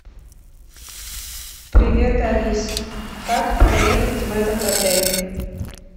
привет алиса как проехать в этот отель